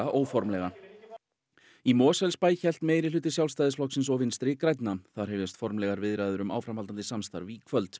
óformlega í Mosfellsbæ hélt meirihluti Sjálfstæðisflokksins og Vinstri grænna þar hefjast formlegar viðræður um áframhaldandi samstarf í kvöld